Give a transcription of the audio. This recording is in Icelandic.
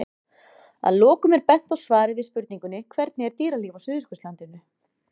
Að lokum er bent á svar við spurningunni Hvernig er dýralíf á Suðurskautslandinu?